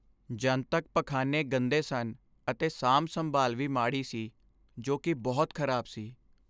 ਜਨਤਕ ਪਖਾਨੇ ਗੰਦੇ ਸਨ ਅਤੇ ਸਾਂਭ ਸੰਭਾਲ ਵੀ ਮਾੜੀ ਸੀ, ਜੋ ਕਿ ਬਹੁਤ ਖ਼ਰਾਬ ਸੀ